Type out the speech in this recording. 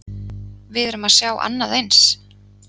Við erum að sjá annað eins?